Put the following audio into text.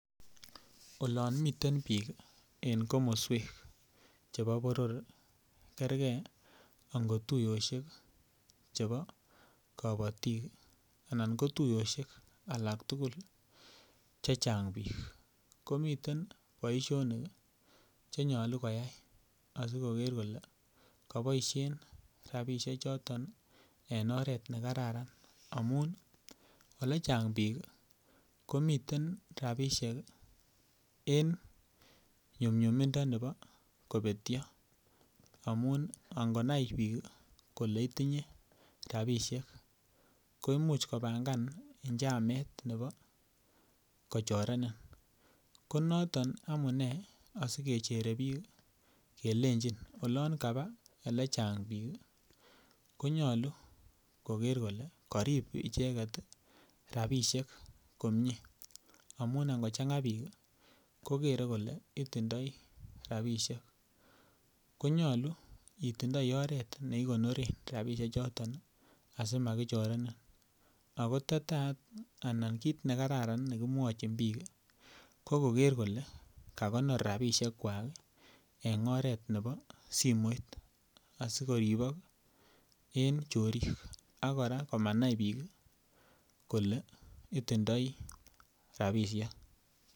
Olon miten bik en komoswek chebo boror kerge ango tuiyosiek chebo kabatik anan ko tuiyosiek alak tugul Che Chang bik komiten boisionik Che nyolu koyai asi koger kole koboisien rabisiechoto en oret ne kararan amun Ole chang bik komiten rabisiek en nyumnyumindo nebo kobetyo amun angonai bik kole itinye rabisiek komuch kopangan njamet nebo kochorenin ko noton amune asi kechere bik kelenjin olon kaba Ole chang bik ko nyolu koger kole karib icheget rabisiek komie amun angochanga bik kokere kole itindoi rabisiek ko nyolu itondoi oret ne igonoren rabisiechuto asi makichorenin ako kit ne kararan ne ki mwochin bik ko koker kole kagonor rabisiek kwak en oret nebo simoit asi koribok en chorik ak kora komanai bik kole itindoi rabisiek